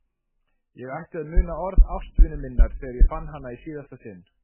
Ég ætti að muna orð ástvinu minnar þegar ég fann hana í síðasta sinn.